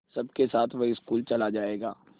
सबके साथ वह स्कूल चला जायेगा